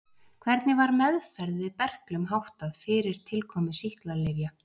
Hvernig var meðferð við berklum háttað fyrir tilkomu sýklalyfja?